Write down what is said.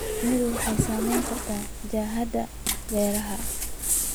Shinnidu waxay saamayn kartaa jihada beeraha.